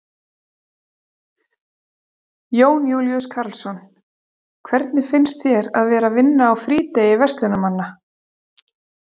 Jón Júlíus Karlsson: Hvernig finnst þér að vera að vinna á frídegi verslunarmanna?